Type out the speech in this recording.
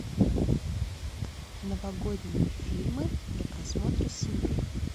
новогодние фильмы для просмотра с семьей